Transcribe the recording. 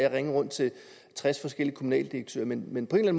at ringe rundt til tres forskellige kommunaldirektører men men på en eller